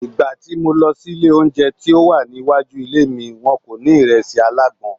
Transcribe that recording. Ìgbà tí mo lọ ilé oúnjẹ tí ó wà ní iwájú ilé mi, wọn kò ní ìrẹsì alágbọ̀n.